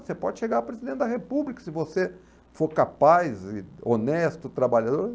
Você pode chegar a presidente da República se você for capaz e honesto, trabalhador.